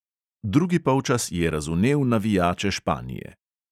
Drugi polčas je razvnel navijače španije.